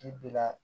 I bila